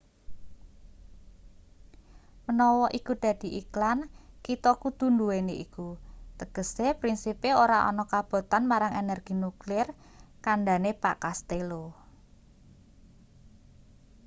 menawa iku dadi iklan kita kudu nduweni iku tegese prinsipe ora ana kabotan marang energi nuklir kandhane pak castello